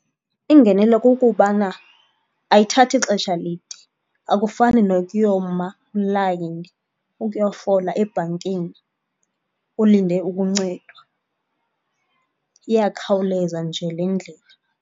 Iingenelo kukubana ayithathi xesha lide, akufani nokuyoma ilayini, ukuyofola ebhankini, ulinde ukuncedwa. Iyakhawuleza nje le ndlela.